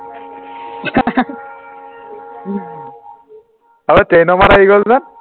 অ train মাত আহি গল যে